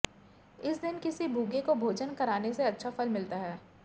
इस दिन किसी भूखे को भोजन कराने से अच्छा फल मिलता है